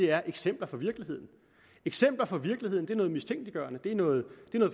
er eksempler fra virkeligheden eksempler fra virkeligheden er noget mistænkeliggørende det er noget